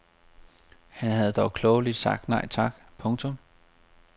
Han havde dog klogeligt sagt nej tak. punktum